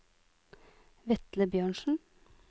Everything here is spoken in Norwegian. Vetle Bjørnsen